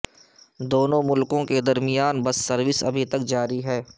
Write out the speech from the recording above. دونوں ملکوں کے درمیان بس سروس ابھی تک جاری ہے